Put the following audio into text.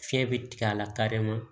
Fiɲɛ bɛ tigɛ a la kare ma